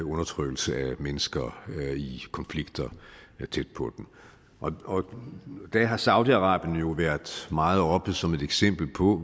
undertrykkelse af mennesker i konflikter tæt på dem og der har saudi arabien jo været meget oppe som et eksempel på